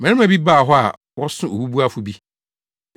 Mmarima bi baa hɔ a wɔso obubuafo bi.